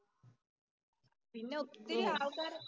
പിന്നെ ഒത്തിരി ആള്‍ക്കാര്